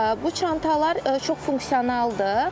Bu çantalar çox funksionaldır.